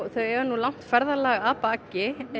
þau eiga langt ferðalaga að baki